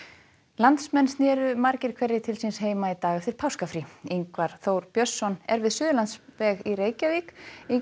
landsmenn sneru margir hverjir til síns heima í dag eftir páskafrí Ingvar Þór Björnsson er við Suðurlandsveg í Reykjavík